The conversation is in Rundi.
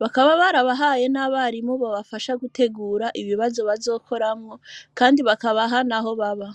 bakaba barabahaye n'abarimu babafasha gutegura ibibazo bazokoramwo kandi bakabaha n'aho baba.